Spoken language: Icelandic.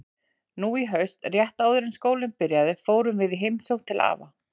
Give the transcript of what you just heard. Nú í haust, rétt áður en skólinn byrjaði, fórum við í heimsókn til afa.